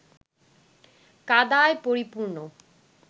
কাদায় পরিপূর্ণ